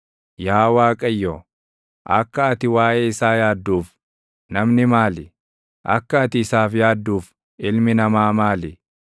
Yaa Waaqayyo, akka ati waaʼee isaa yaadduuf, namni maali? Akka ati isaaf yaadduuf ilmi namaa maali?